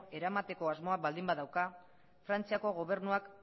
eramateko asmoa baldin badauka frantziako gobernuak